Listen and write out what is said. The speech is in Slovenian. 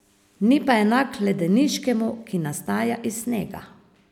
Ni pa enak ledeniškemu, ki nastaja iz snega.